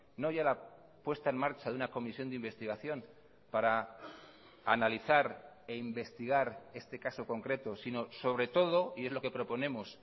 no ya la puesta en marcha de una comisión de investigación para analizar e investigar este caso concreto sino sobre todo y es lo que proponemos